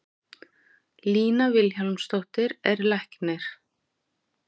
Lína Vilhjálmsdóttir er læknir.